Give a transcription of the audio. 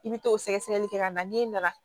I bɛ t'o sɛgɛsɛgɛli kɛ ka na n'e nana